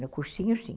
No cursinho, sim.